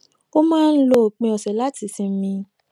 ó máa ń lo òpin òsè láti sinmi